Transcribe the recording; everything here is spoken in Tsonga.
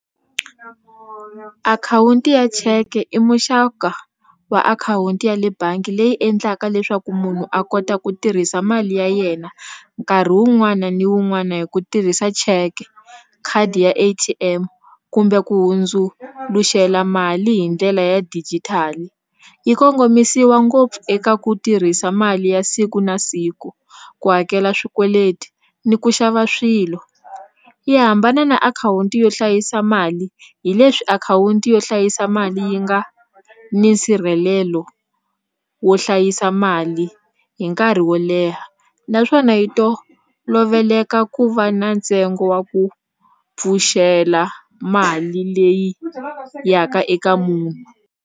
Akhawunti ya cheke i muxaka wa akhawunti ya le bangi leyi endlaka leswaku munhu a kota ku tirhisa mali ya yena nkarhi wun'wana ni wun'wana hi ku tirhisa check khadi ya A_T_M kumbe ku hundzuluxela mali hi ndlela ya digital yi kongomisiwa ngopfu eka ku tirhisa mali ya siku na siku ku hakela swikweleti ni ku xava swilo yi hambana na akhawunti yo hlayisa mali hi leswi akhawunti yo hlayisa mali yi nga ni nsirhelelo wo hlayisa mali hi nkarhi wo leha naswona yi toloveleka ku va na ntsengo wa ku pfuxela mali leyi ya ka eka munhu.